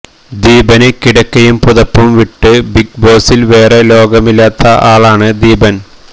ദീപന് കിടക്കയും പുതപ്പും വിട്ട് ബിഗ് ബോസില് വേറെ ലോകമില്ലാത്ത ആളാണ് ദീപന്